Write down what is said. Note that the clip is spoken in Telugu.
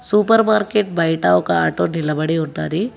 సూపర్ మార్కెట్ బయట ఒక ఆటో నిలబడి ఉన్నది.